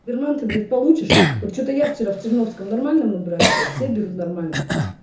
верман ты блять получишь вот че-то я вчера в черновском нормально мы брали блять все берут нормально